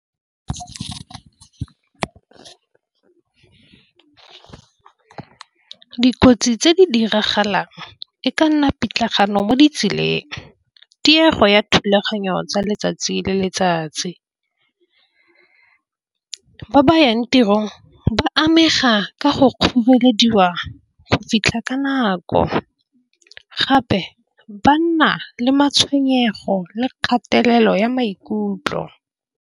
Dikotsi tse di diragalang e ka nna pitlagano mo ditseleng diego ya thulaganyo tsa letsatsi le letsatsi. Go ba yang tirong ba amega ka go kgorelediwa go fitlha ka nako. Gape ba nna le matshwenyego le kgatelelo ya maikutlo.